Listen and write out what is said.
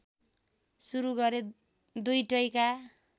सुरु गरे दुईटैका